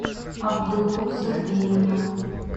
абдулу сергеевна